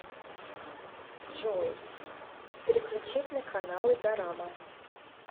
джой переключить на каналы дорама